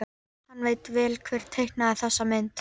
Hann veit vel hver teiknaði þessa mynd.